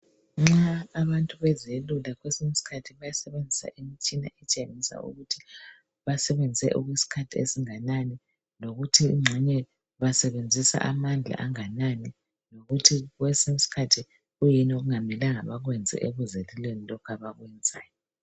Nxa abantu bezelula kwesinye isikhathi bayasebenzisa imitshina etshengisa ukuthi basebenze okwesikhathi esinganani lokuthi engxenye basebenzisa amandla anganani lokuthi kwesinye iskhathi kuyini okungamelanga bakwenze ekuzeluleni lokhu abakwenzayo.